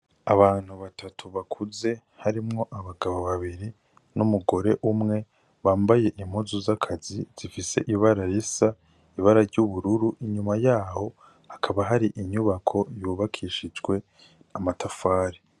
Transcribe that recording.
Abantu batatu bakuze harimwo abagabo babiri n'umugore umwe bambaye impuzu z'akazi zifise ibara risa ibara ry'ubururu inyuma yaho hakaba hari inyubako yubakishijwe amatafari.